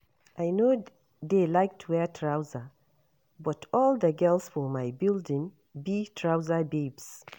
I no dey like to wear trouser but all the girls for my building be trouser babes